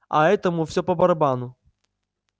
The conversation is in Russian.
а этому всё по-барабану